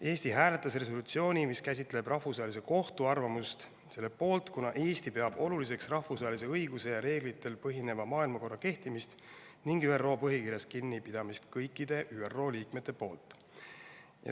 Eesti hääletas Rahvusvahelise Kohtu arvamust käsitleva resolutsiooni poolt, kuna Eesti peab oluliseks rahvusvahelise õiguse ja reeglitel põhineva maailmakorra kehtimist ning kõikide ÜRO liikmete kinnipidamist ÜRO põhikirjast.